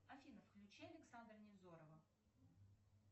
афина включи александра невзорова